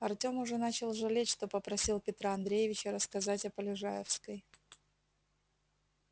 артем уже начал жалеть что попросил петра андреевича рассказать о полежаевской